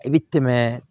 I bɛ tɛmɛ